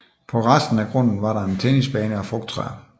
På resten af grunden var der en tennisbane og frugttræer